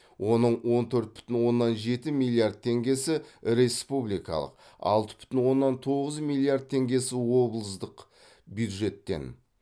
оның он төрт бүтін оннан жеті миллиард теңгесі республикалық алты бүтін оннан тоғыз миллиард теңгесі облыстық бюджеттен